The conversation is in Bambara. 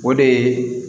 O de ye